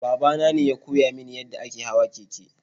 Baba nane ya koya mini yadda ake hawan keke.